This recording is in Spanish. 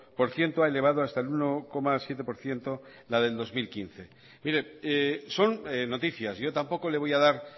por ciento ha elevado hasta el uno coma siete por ciento la del dos mil quince mire son noticias yo tampoco le voy a dar